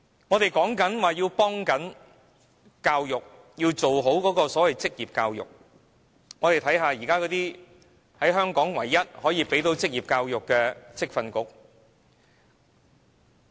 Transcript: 我們說要做好職業教育，看看現時香港唯一可以提供職業教育的職業訓練局。